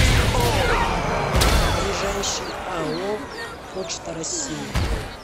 ближайший ао почта россии